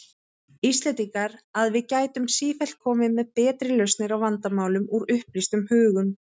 Íslendingar, að við gætum sífellt komið með betri lausnir á vandamálum, úr upplýstum hugum.